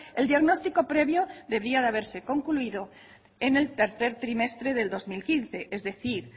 el diagnóstico previo debería haberse concluido en el tercer trimestre del dos mil quince es decir